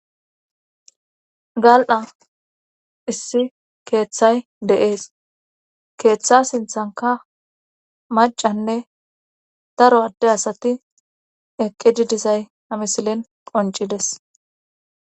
gal7a issi keeththay deees keeththa sinthanka macanne daro adde asati eqqididisay amisilen qoncides